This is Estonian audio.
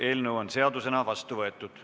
Eelnõu on seadusena vastu võetud.